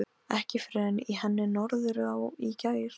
Ekki fyrr en í henni Norðurá í gær.